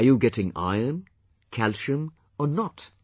Are you getting Iron, Calcium or not